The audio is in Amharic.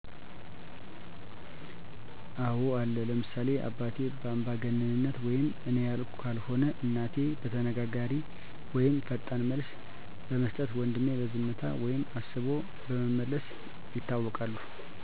አወ አለ ለምሳሌ አባቴ በአንባገነንነት ወይም እኔ ያልኩት ካልሆነ እናቴ በተናጋሪነት ወይም ፈጣን መልስ በመስጠት ወንድሜ በዝምታ ወይም አስቦ በመመለስ ይታወቃሉ።